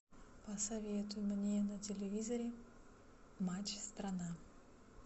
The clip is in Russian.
посоветуй мне на телевизоре матч страна